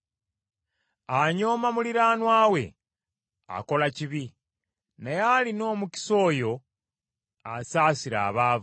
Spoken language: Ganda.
Anyooma muliraanwa we akola kibi, naye alina omukisa oyo asaasira abaavu.